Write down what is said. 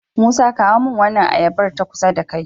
musa kawo min wannan ayabar ta kusa da kai